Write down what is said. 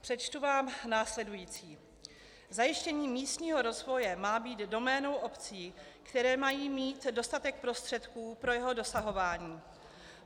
Přečtu vám následující: "Zajištění místního rozvoje má být doménou obcí, které mají mít dostatek prostředků pro jeho dosahování.